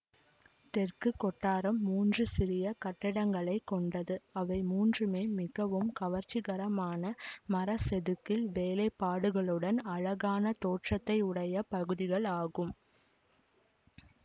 தெற்கு கொட்டாரம் மூன்று சிறிய கட்டிடங்களைக்கொண்டது அவை மூன்றுமே மிகவும் கவர்ச்சிகரமான மர செதுக்கல் வேலைப்பாடுகளுடன் அழகான தோற்றத்தையுடைய பகுதிகளாகும்